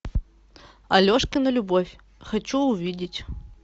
алешкина любовь хочу увидеть